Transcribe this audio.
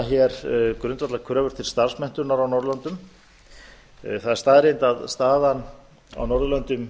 nefna grundvallarkröfur til starfsmenntunar á norðurlöndum það er staðreynd að staðan á norðurlöndum